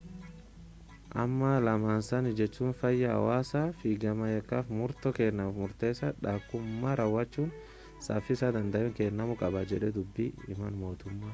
"amma lamaansaanii jechuunis fayyaa hawaasaa fi gama yakkaf murtoo kennamuf murteessa dha akkumaa raawwachisuun safiisa danda’ameen kennamuu qaba jedhe dubbi himan motummaa.